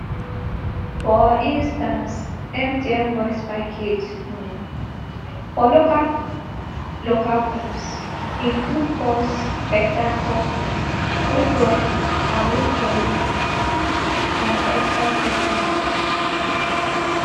for instance mtn voice package um for local local calls include pulse beta talk um true talk awuffouru and extra special